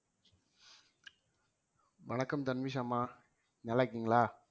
வணக்கம் தன்விஷ் அம்மா நல்லா இருக்கீங்களா